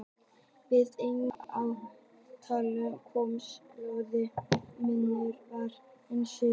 Við efnagreiningu á tárunum kom í ljós að munur var á efnasamsetningu þeirra.